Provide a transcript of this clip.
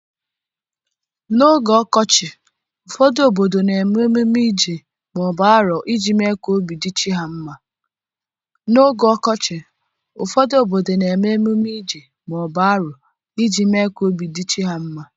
N'oge ọkọchị, ụfọdụ obodo na-eme emume Ije/aro iji mee ka obi dị chi ha mma.